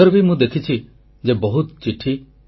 ସବୁଥର ପରି ମନ କି ବାତ୍ ପାଇଁ ଆପଣଙ୍କର ଏବଂ ମୋର ବି ପ୍ରତୀକ୍ଷା ରହିଛି